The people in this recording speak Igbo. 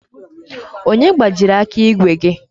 Onye gbajiri aka ígwè gi?